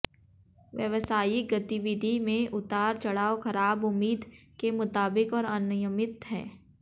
व्यावसायिक गतिविधि में उतार चढ़ाव खराब उम्मीद के मुताबिक और अनियमित हैं